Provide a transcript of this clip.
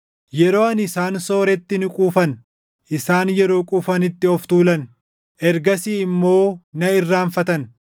Yeroo ani isaan sooretti ni quufan; isaan yeroo quufanitti of tuulan; ergasii immoo na irraanfatan.